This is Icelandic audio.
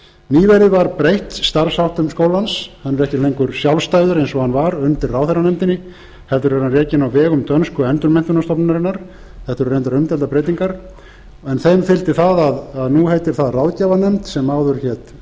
nýverið var breytt starfsháttum skólans hann er ekki lengur sjálfstæður eins og hann var undir ráðherranefndinni heldur er hann rekinn á vegum dönsku endurmenntunarstofnunarinnar þetta eru reyndar umdeildar breytingar en þeim fylgdi það að nú heitir það ráðgjafarnefnd sem áður hér